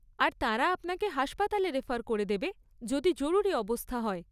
আর তারা আপনাকে হাসপাতালে রেফার করে দেবে, যদি জরুরি অবস্থা হয়।